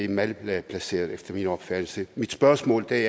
malplaceret efter min opfattelse mit spørgsmål er i